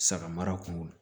Saga mara kun kɔnɔ